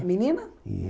É menina?